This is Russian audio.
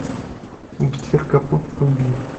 гитлер капут вруби